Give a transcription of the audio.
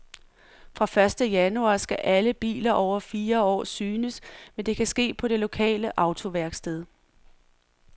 Fra første januar skal alle biler over fire år synes, men det kan ske på det lokale autoværksted.